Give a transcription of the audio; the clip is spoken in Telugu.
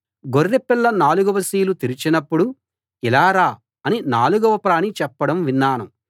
గొర్రెపిల్ల నాలుగవ సీలు తెరచినప్పుడు ఇలా రా అని నాలుగవ ప్రాణి చెప్పడం విన్నాను